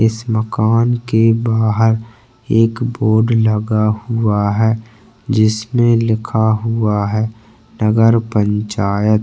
इस माकन के बाहर एक बोर्ड लगा हुआ है जिसमे लिखा हुआ है नगर पंचायत--